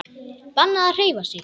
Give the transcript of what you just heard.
Bannað að hreyfa sig.